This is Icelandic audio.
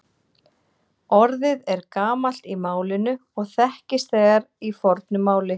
Orðið er gamalt í málinu og þekkist þegar í fornu máli.